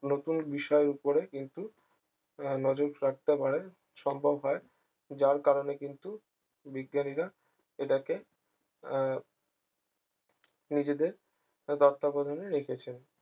নতুন বিষয়ের উপরে কিন্তু আহ নজর রাখতে পারে সম্ভব হয় যার কারণে কিন্তু বিজ্ঞানীরা এটাকে আহ নিজেদের তত্ত্বাবধানে রেখেছেন